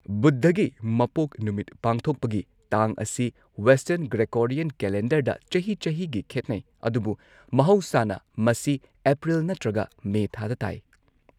ꯕꯨꯙꯒꯤ ꯃꯄꯣꯛ ꯅꯨꯃꯤꯠ ꯄꯥꯡꯊꯣꯛꯄꯒꯤ ꯇꯥꯡ ꯑꯁꯤ ꯋꯦꯁꯇꯔꯟ ꯒ꯭ꯔꯦꯒꯣꯔꯤꯌꯟ ꯀꯦꯂꯦꯟꯗꯔꯗ ꯆꯍꯤ ꯆꯍꯤꯒꯤ ꯈꯦꯠꯅꯩ ꯑꯗꯨꯕꯨ ꯃꯍꯧꯁꯥꯅ ꯃꯁꯤ ꯑꯦꯄ꯭ꯔꯤꯜ ꯅꯠꯇ꯭ꯔꯒ ꯃꯦ ꯊꯥꯗ ꯇꯥꯏ꯫